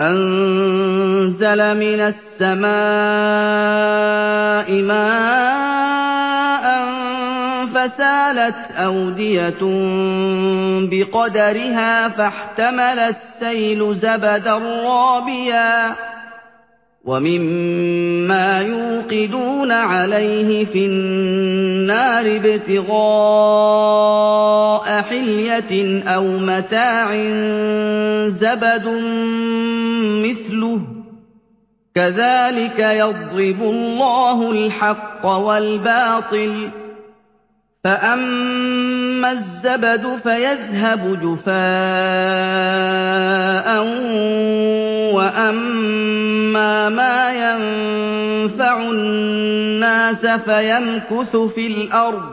أَنزَلَ مِنَ السَّمَاءِ مَاءً فَسَالَتْ أَوْدِيَةٌ بِقَدَرِهَا فَاحْتَمَلَ السَّيْلُ زَبَدًا رَّابِيًا ۚ وَمِمَّا يُوقِدُونَ عَلَيْهِ فِي النَّارِ ابْتِغَاءَ حِلْيَةٍ أَوْ مَتَاعٍ زَبَدٌ مِّثْلُهُ ۚ كَذَٰلِكَ يَضْرِبُ اللَّهُ الْحَقَّ وَالْبَاطِلَ ۚ فَأَمَّا الزَّبَدُ فَيَذْهَبُ جُفَاءً ۖ وَأَمَّا مَا يَنفَعُ النَّاسَ فَيَمْكُثُ فِي الْأَرْضِ ۚ